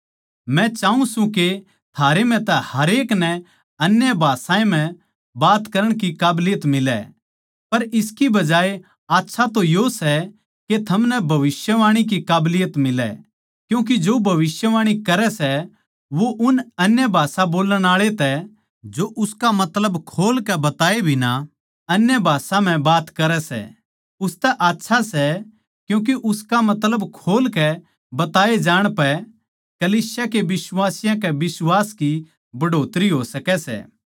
मै चाऊँ सूं के थारे म्ह तै हरेक नै अन्य भाषायां म्ह बात करण की काबलियत मिलै पर इसकी बजाए आच्छा तो यो सै के थमनै भविष्यवाणी की काबलियत मिलै क्यूँके जो भविष्यवाणी करै सै वो उस अन्य भाषा बोल्लण आळा तै जो उसका मतलब खोल कै बतावै बिना अन्य भाषा म्ह बात करै सै उसतै आच्छा सै क्यूँके उसका मतलब खोल कै बताये जाण पैए कलीसिया के बिश्वासियाँ के बिश्वास की बढ़ोतरी हो सकै सै